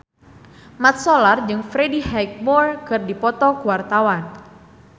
Mat Solar jeung Freddie Highmore keur dipoto ku wartawan